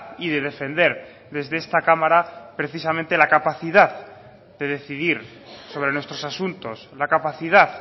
y de defender desde esta cámara precisamente la capacidad de decidir sobre nuestros asuntos la capacidad